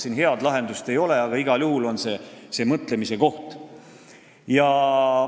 Siin head lahendust ei ole, aga igal juhul on see mõtlemise koht.